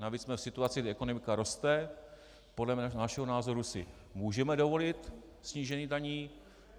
Navíc jsme v situaci, kdy ekonomika roste, podle našeho názoru si můžeme dovolit snížení daní.